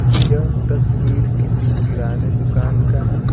यह तस्वीर किसी किराने दुकान का है।